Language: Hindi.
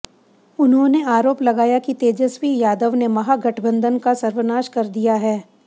उन्होंने आरोप लगाया कि तेजस्वी यादव ने महागठबंधन का सर्वनाश कर दिया है